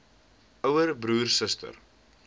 ouer broer suster